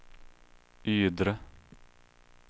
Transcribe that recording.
Ydre